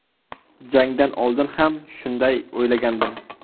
Jangdan oldin ham shunday o‘ylagandim.